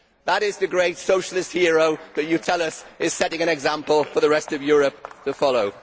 That is the great socialist hero that you tell us is setting an example for the rest of Europe to follow.